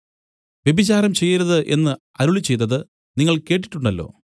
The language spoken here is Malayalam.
വ്യഭിചാരം ചെയ്യരുത് എന്നു അരുളിച്ചെയ്തത് നിങ്ങൾ കേട്ടിട്ടുണ്ടല്ലോ